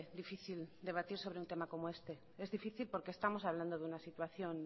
difícil debatir sobre un tema como este es difícil porque estamos hablando de una situación